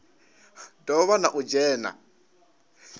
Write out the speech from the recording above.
do vha na u dzhena